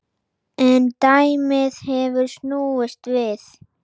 En dæmið hefur snúist við.